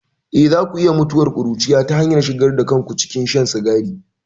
Eh, za ku iya mutuwar ƙuruciya ta hanyar shigar da kanku cikin shan sigari.